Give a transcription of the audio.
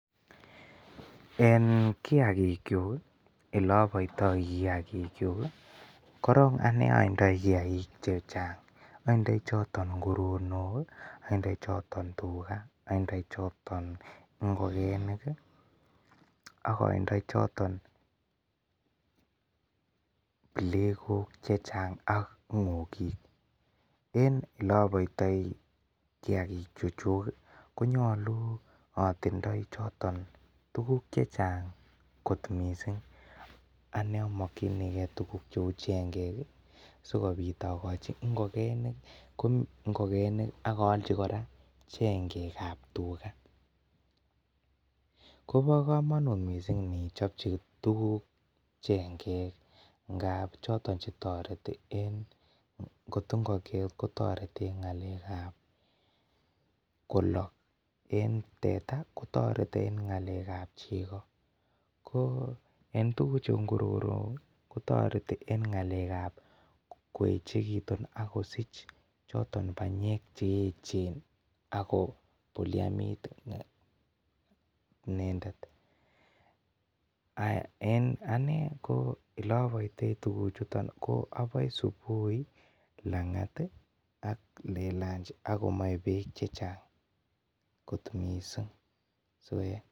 Eng kiagik kyuuk ii ole abaitoi ii kiagik kyuuk korong ane aindoi kiagik che chaang chandai chotoon nguronook andai chotoon tugaah andai chotoon ingogenik ak andai chotoon plegook che chaang ak ngongiik en ele abaitai kiagik chu chuig ii konyaluu atindoi tuguuk che chaang koot missing ane amakyinigei tuguuk che uu chengeek ii sikobiit akochii ingogenik ko ingogenik ak ayalchii kora chengeek ab tugaah ko bo kamanut missing inichapchii tuguuk chengek kaap chotoon che taretii eng ngoot ko ingogiet ko taretii eng ngalek ab kolaal eng teta eng kotaretii eng ngalek ab chego eng tuguuk chuu nguronook ko taretii eng ngalek ab koyechekituun ako siich chotoon panyeek che eecheen ako bulianiit inendet en anei ko elebaitai tuguuk chutoon ko abae eng subui ii ak eng langat ik aka en lanjii akomae beek che chaang koot missing.